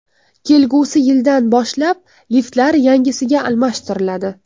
Kelgusi yildan boshlab liftlar yangisiga almashtiriladi.